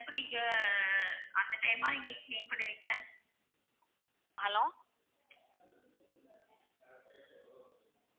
இப்ப நீங்க அந்த time ஆ நீங்க clean பண்ணுவீங்க hello